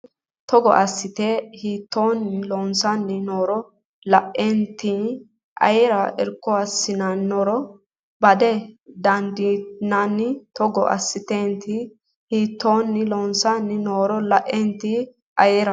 Togo assatenni hiittoonni loossanni nooro la atenni ayera irko hasiissannoro bada dandiinanni Togo assatenni hiittoonni loossanni nooro la atenni ayera.